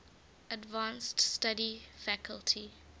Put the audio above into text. advanced study faculty